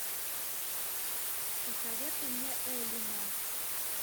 посоветуй мне элина